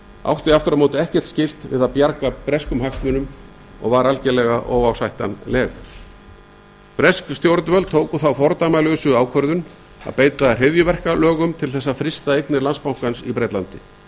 átti aftur á móti ekkert skylt við að bjarga breskum hagsmunum og var algerlega óásættanleg bresk stjórnvöld tóku þá fordæmalausu ákvörðun að beita hryðjuverkalögum til þess að frysta eignir landsbankans í bretlandi